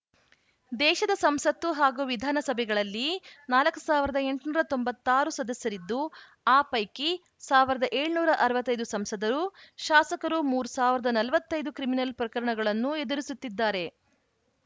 ದೇಶದ ಸಂಸತ್ತು ಹಾಗೂ ವಿಧಾನಸಭೆಗಳಲ್ಲಿ ನಾಲ್ಕ್ ಸಾವಿರದ ಎಂಟುನೂರ ತೊಂಬತ್ತ್ ಆರು ಸದಸ್ಯರಿದ್ದು ಆ ಪೈಕಿ ಸಾವಿರದ ಏಳುನೂರ ಅರವತ್ತ್ ಐದು ಸಂಸದರು ಶಾಸಕರು ಮೂರ್ ಸಾವಿರದ ನಲವತ್ತ್ ಐದು ಕ್ರಿಮಿನಲ್‌ ಪ್ರಕರಣಗಳನ್ನು ಎದುರಿಸುತ್ತಿದ್ದಾರೆ